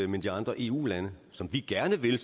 med de andre eu lande som vi gerne vil